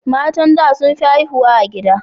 Matan da sun fi haihuwa a gida